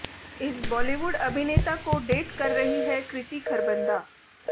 इस बॉलीवुड अभिनेता को डेट कर रही है कृति खरबंदा